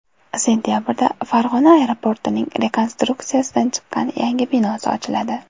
Sentabrda Farg‘ona aeroportining rekonstruksiyadan chiqqan yangi binosi ochiladi.